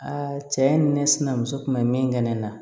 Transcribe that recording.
cɛ ni ne sinamuso kun bɛ min kɛ ne na